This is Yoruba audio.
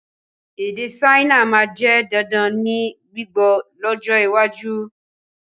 Èdè Saina máa jẹ dandan ní gbígbọ́ lọ́jọ́ iwájú